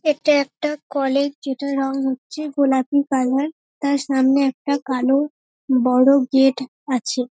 এটা একটা কলেজ যেটার রঙ হচ্ছে গোলাপি কালার । তার সামনে একটা কালো বড় গেট আছে।